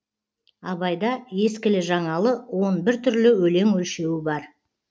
абайда ескілі жаңалы он бір түрлі өлең өлшеуі бар